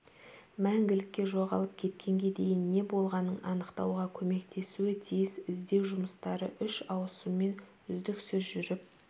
мәңгілікке жоғалып кеткенге дейін не болғанын анықтауға көмектесуі тиіс іздеу жұмыстары үш ауысыммен үздіксіз жүріп